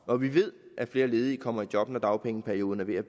og vi ved at flere ledige kommer i job når dagpengeperioden er ved